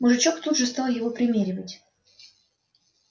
мужичок тут же стал его примеривать